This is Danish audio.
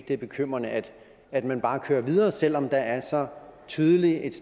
det er bekymrende at at man bare kører videre selv om der er så tydeligt et